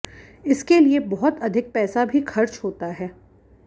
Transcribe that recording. इसके लिए बहुत अधिक पैसा भी खर्च होता है